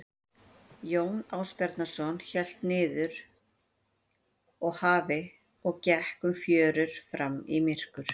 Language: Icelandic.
Jón Ásbjarnarson hélt niður að hafi og gekk um fjörur fram í myrkur.